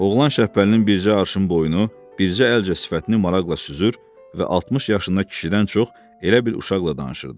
Oğlan Şəbpəlinin bircə arşın boyunu, bircə əlcə sifətini maraqla süzür və 60 yaşındakı kişidən çox elə bil uşaqla danışırdı.